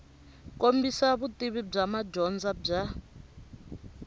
kombisa vutivi bya madyondza bya